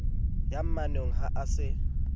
ya mmonang ha a se